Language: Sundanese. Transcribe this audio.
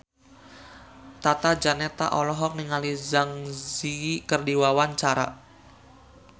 Tata Janeta olohok ningali Zang Zi Yi keur diwawancara